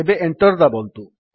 ଏବେ enter ଦାବନ୍ତୁ